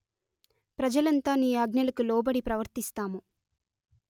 ప్రజలంతా నీ ఆజ్ఞలకు లోబడి ప్రవర్తిస్తాము